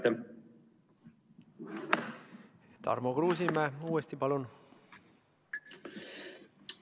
Tarmo Kruusimäe uuesti, palun!